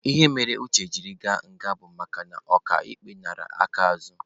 Ihe mere Uche jiri gaa nga bụ makana oka ikpe nara aka azụ.